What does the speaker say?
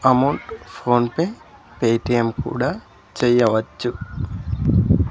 Amount PhonePe Paytm కూడా చెయ్యవచ్చు.